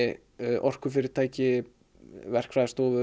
orkufyrirtæki verkfræðistofur